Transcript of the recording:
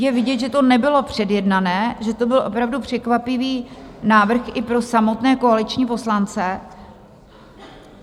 Je vidět, že to nebylo předjednané, že to byl opravdu překvapivý návrh i pro samotné koaliční poslance.